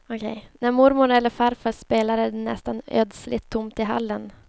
När mormor eller farfar spelar är det nästan ödsligt tomt i hallen.